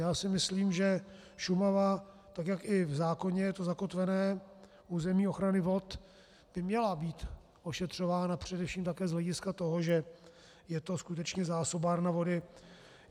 Já si myslím, že Šumava, tak jak i v zákoně je to zakotvené, územní ochrany vod, by měla být ošetřována především také z hlediska toho, že je to skutečně zásobárna vody.